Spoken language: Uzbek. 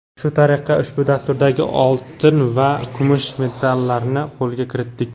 Shu tariqa ushbu dasturdagi oltin va kumush medallarni qo‘lga kiritdik!.